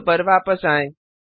code पर वापस आएँ